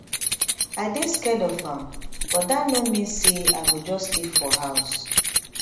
i dey scared of am but dat no mean say i go just stay fro house